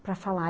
para falar.